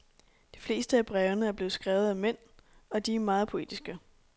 De fleste af brevene er skrevet af mænd, og de er meget poetiske.